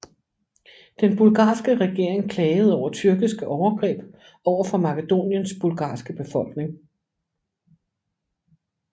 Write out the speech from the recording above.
Den bulgarske regering klagede over tyrkiske overgreb over for Makedoniens bulgarske befolkning